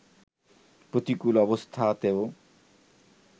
প্রতিকূল অবস্থাতেও